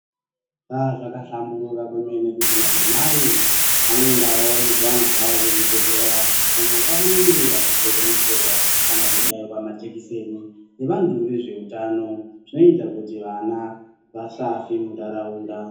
Aa zvakahlamburuka kwemene kuti madzimai anoendawo nezviana zvavo kuzvibhedhlera, uko kwaanenge achizodonhedzerwa kana kubairwa majekiseni nevantu vezveutano. Zvinoita kuti vana vasafe muntaraunda.